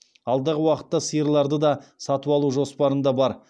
алдағы уақытта сиырларды да сатып алу жоспарында бар